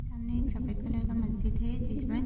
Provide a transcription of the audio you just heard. सामने एक सफ़ेद कलर का मस्जिद है जिसमें --